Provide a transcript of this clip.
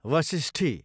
Vashishti